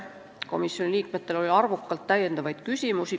Komisjoni liikmetel oli arvukalt täiendavaid küsimusi.